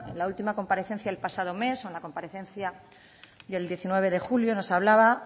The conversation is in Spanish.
la última comparecencia el pasado mes o la comparecencia del diecinueve de julio nos hablaba